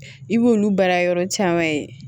I b'olu baara yɔrɔ caman ye